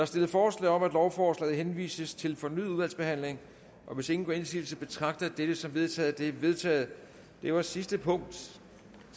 stillet forslag om at lovforslaget henvises til fornyet udvalgsbehandling hvis ingen gør indsigelse betragter jeg dette som vedtaget det er vedtaget det var sidste punkt